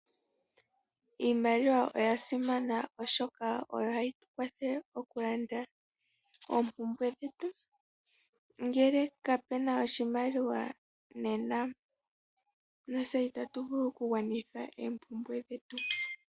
Iimaliwa oyasimana oshoka oyo hayi tukwathele okulanda ompumbwe dhetu ngele kapena oshimaliwa nena natse itatu vulu oku gwanitha ompumbwe shetu.